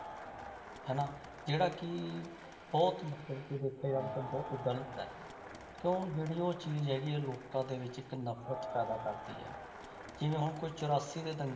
ਹਨਾ ਜਿਹੜਾ ਕਿ ਬਹੁਤ ਮਤਲਬ ਕਿ ਦੇਖਿਆ ਜਾਵੇ ਤਾਂ ਬਹੁਤ ਗ਼ਲਤ ਹੈ, ਕਿਉਂ ਜਿਹੜੀ ਉਹ ਚੀਜ਼ ਹੈਗੀ ਹੈ ਲੋਕਾਂ ਦੇ ਵਿੱਚ ਇੱਕ ਨਫ਼ਰਤ ਪੈਦਾ ਕਰਦੀ ਹੈ, ਜਿਵੇਂ ਹੁਣ ਕੋਈ ਚੁਰਾਸੀ ਦੇ ਦੰਗੇ